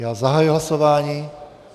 Já zahajuji hlasování.